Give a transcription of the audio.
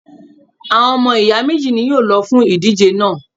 Àwọn ọmọ ìyá méjì ni wọn yóò lọ fún ìdíje náà